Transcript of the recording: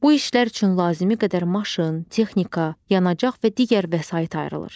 Bu işlər üçün lazımi qədər maşın, texnika, yanacaq və digər vəsait ayrılır.